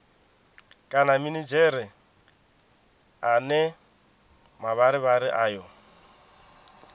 kana minidzhere ane mavharivhari ayo